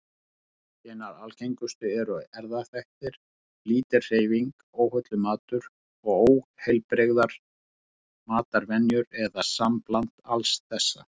Hinar algengustu eru erfðaþættir, lítil hreyfing, óhollur matur og óheilbrigðar matarvenjur, eða sambland alls þessa.